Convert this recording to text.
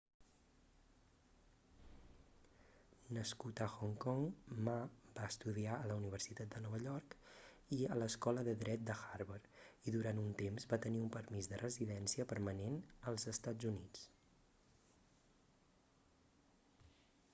nascut a hong kong ma va estudiar a la universitat de nova york i a l'escola de dret de harvard i durant un temps va tenir un permís de residència permanent als estats units